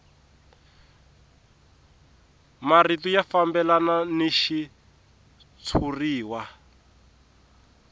marito ya fambelana ni xitshuriwa